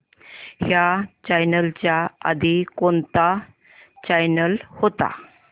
ह्या चॅनल च्या आधी कोणता चॅनल होता